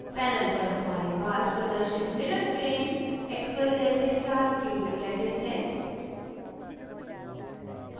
panel पर हमारे पास प्रदर्शित mirrorplane x z y के साथ cubic lattice है